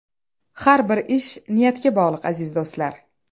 Har bir ish niyatga bog‘liq aziz do‘stlar.